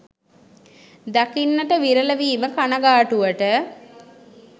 දකින්නට විරල වීම කනගාටුවට